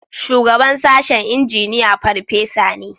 Shugaban sashen Injiniya farfesa ne